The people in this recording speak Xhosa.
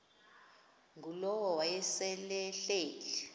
ngulowo wayesel ehleli